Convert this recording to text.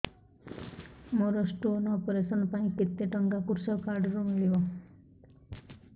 ମୋର stone operation ପାଇଁ କେତେ ଟଙ୍କା କୃଷକ କାର୍ଡ ରୁ ମିଳିବ